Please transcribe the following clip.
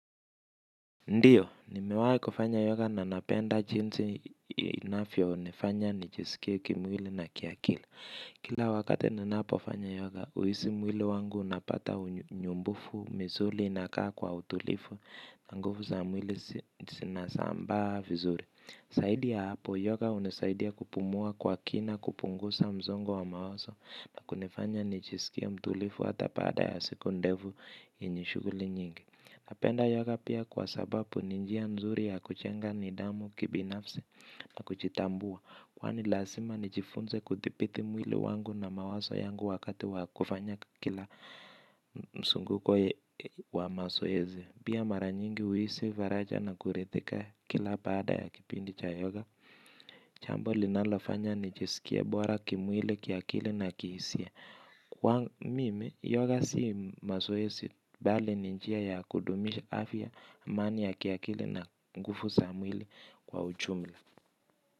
Ndiyo, nimewahi kufanya yoga na napenda jinsi inavyonifanya nijisikie kimwili na kiakili. Kila wakati ninapofanya yoga, huhisi mwili wangu unapata unyumbufu, misuli inakaa kwa utulivu, na nguvu za mwili zinasambaa vizuri. Zaidi ya hapo yoga hunisaidia kupumua kwa kina kupunguza msongo wa mawazo na kunifanya nijisikie mtulivu hata baada ya siku ndefu yenye shughuli nyingi. Napenda yoga pia kwa sababu ni njia nzuri ya kujenga nidhamu kibinafsi na kujitambua kwani lazima nijifunze kuthibiti mwili wangu na mawazo yangu wakati wa kufanya kila mzunguko wa mazoezi pia mara nyingi huhisi faraja na kuridhika kila baada ya kipindi cha yoga jambo linalofanya nijisikie bora kimwili kiakili na kihisia kwa mimi yoga si mazoezi bali ni njia ya kudumisha afya amani ya kiakili na nguvu za mwili kwa ujumla.